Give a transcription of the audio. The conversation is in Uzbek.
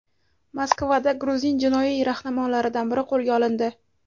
Moskvada gruzin jinoiy rahnamolaridan biri qo‘lga olindi.